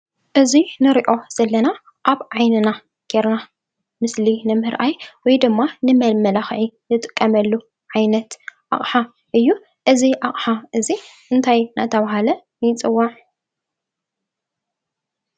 እዚ ንሪኦ ዘለና ኣብ ዓይንና ጌርና ምስሊ ንምርኣይ ወይ ድማ ንመመላኽዒ ንጥቀመሉ ዓይነት ኣቕሓ እዩ፡፡ እዚ ኣቕሓ እዚ እንታይ እናተባህለ ይፅዋዕ?